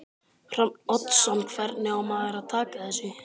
Hrafn Oddsson Hvernig á maður að taka þessu?